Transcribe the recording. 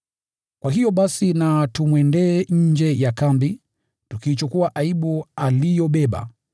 Kwa hiyo, basi na tumwendee nje ya kambi, tukiichukua aibu aliyobeba.